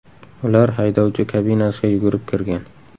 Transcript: Ular haydovchi kabinasiga yugurib kirgan.